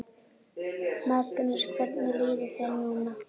Magnús: Hvernig líður þér núna?